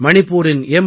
மணிப்பூரின் M